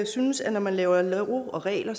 synes at når man laver love og regler